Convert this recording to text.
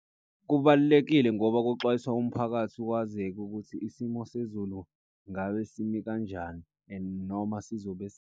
Kubalulekile ngoba kuxwayiswa umphakathi kwazeke ukuthi isimo sezulu ngabe simi kanjani. And noma sizobe.